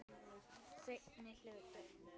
Seinni hluti.